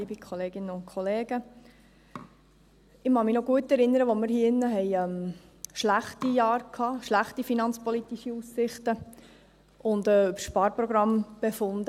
Ich kann mich noch gut daran erinnern, dass wir hier drin schlechte Jahre hatten und schlechte finanzpolitische Aussichten, und dass wir über Sparprogramme befanden.